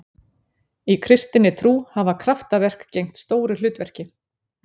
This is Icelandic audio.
Í kristinni trú hafa kraftaverk gegnt stóru hlutverki.